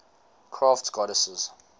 crafts goddesses